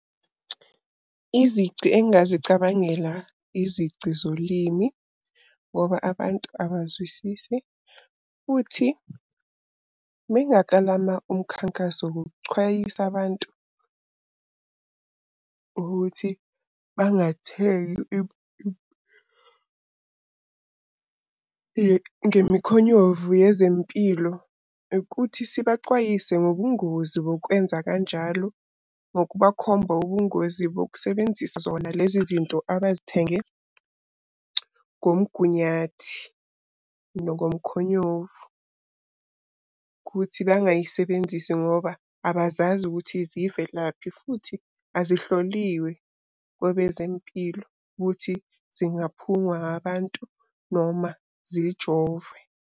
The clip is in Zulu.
Izici engingazicabangela izici zolimi, ngoba abantu abazwisisi. Futhi uma ngingakalama umkhankaso wokucwayisa abantu ukuthi bangathengi ngemikhonyovu yezempilo, ukuthi sibacwayise ngobungozi bokwenza kanjalo. Ngokubakhomba ubungozi bokusebenzisa zona lezi zinto abazithenge ngomgunyathi nokomkhonyovu. Kuthi bangayisebenzisi ngoba abazazi ukuthi zivelaphi futhi azihloliwe kwabezempilo ukuthi zingaphungwa abantu noma zijovwe.